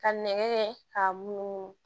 Ka nɛgɛ ka munumunu